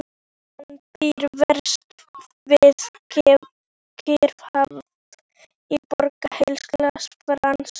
Hann býr vestur við Kyrrahaf í Borg Heilags Frans.